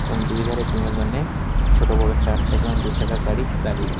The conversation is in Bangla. এবং দুই ধারে ছোট বড় চার চাকা এবং দু চাকার গাড়ি দাঁড়িয়ে রয়ে--